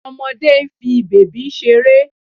Ọmọdé ń fi bèbí ṣeré